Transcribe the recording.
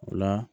O la